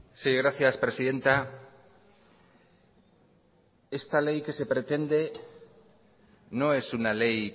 sí gracias presidenta esta ley que se pretende no es una ley